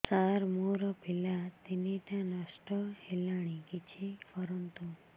ସାର ମୋର ପିଲା ତିନିଟା ନଷ୍ଟ ହେଲାଣି କିଛି କରନ୍ତୁ